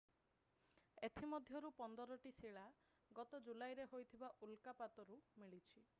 ଏଥି ମଧ୍ୟରୁ ପନ୍ଦରଟି ଶିଳା ଗତ ଜୁଲାଇରେ ହୋଇଥିବା ଉଲ୍‌କାପାତରୁ ମିଳିଛି।